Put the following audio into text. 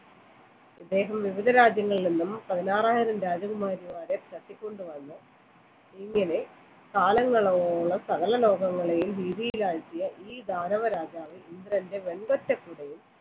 അദ്ദേഹം വിവിധ രാജ്യങ്ങളിൽ നിന്നും പതിനാറായിരം രാജകുമാരിമാരെ തട്ടി കൊണ്ടുവന്നു ഇങ്ങനെ കാലങ്ങളോളം സകല ലോകങ്ങളെയും ഭീതിയിലാഴ്ത്തിയ ഈ ദാനവ രാജാവ്